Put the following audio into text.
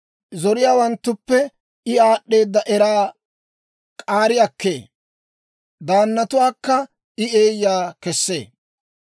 Zoriyaawanttuppe I aad'd'eeda eraa k'aari akkee; Daannatuwaakka I eeyaa kesee.